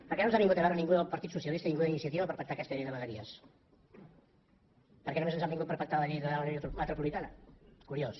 per què no ens ha vingut a veure ningú del partit socialista ningú d’iniciativa per pactar aquesta llei de vegueries per què només ens han vingut per pactar la llei de l’àrea metropolitana curiós